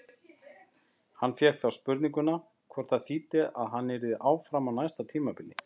Hann fékk þá spurninguna hvort það þýddi að hann yrði áfram á næsta tímabili?